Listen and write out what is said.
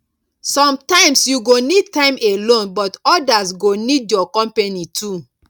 sometimes you go need time alone but others go need your company too